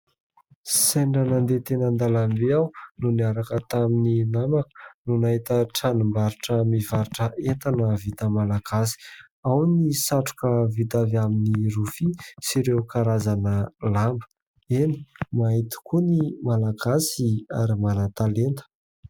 Sendra nandeha teny an-dàlambe aho no niaraka tamin'ny namako no nahita tranom-barotra mivarotra entana vita malagasy. Ao ny satroka vita avy amin'ny rofia sy ireo karazana lamba. Eny ! mahay tokoa ny malagasy ary manan-talenta.